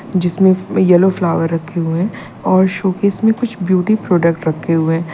जिसमें yellow flower रखे हुए हैं और शोपीस में कुछ ब्यूटी प्रोडक्ट रखे हुए है।